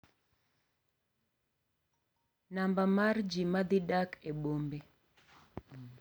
Namba mar ji ma dhi dak e bombe